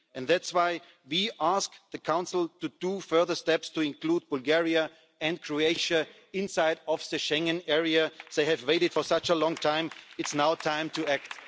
That's why we ask the Council to take further steps to include Bulgaria and Croatia inside the Schengen area. They have waited for such a long time. It's now time